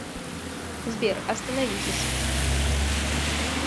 сбер остановитесь